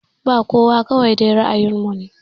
Ba kowa kawai dai ra'ayin mu ne